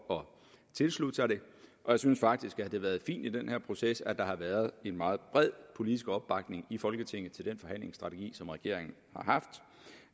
tilslutte sig det og jeg synes faktisk at det har været fint i den her proces at der har været en meget bred politisk opbakning i folketinget til den forhandlingsstrategi som regeringen